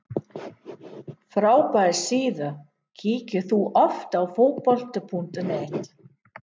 Frábær síða Kíkir þú oft á Fótbolti.net?